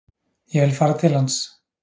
Ég vil fara til hans.